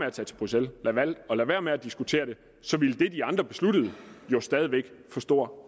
at tage til bruxelles valgte at lade være med at diskutere det så ville det de andre besluttede jo stadig væk få stor